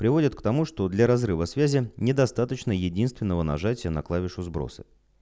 приводит к тому что для разрыва связи недостаточно единственного нажатия на клавишу сброса